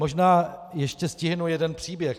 Možná ještě stihnu jeden příběh.